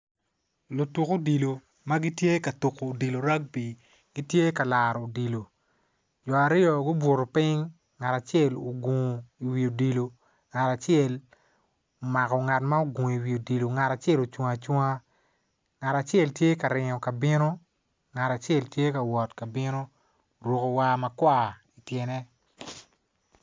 Lutuk odilo ma gitye ka tuko odilo ragby gitye ka laro odilo jo aryo gubuto piny ngat acel ogungo iwi odilo ngat acel omako ngat ma ogungo iwi odilo ngat acel ocung acunga ngat acel tye ka ringo ka bino ngat acel tye ka wot ka bino oruko war makwar ityene.